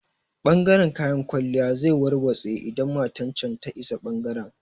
Ɓangaren kayan kwalliya zai warwatse idan matan can ta isa ɓangaren